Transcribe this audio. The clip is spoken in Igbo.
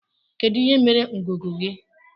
Kedu ihe mere ngụgụ gị?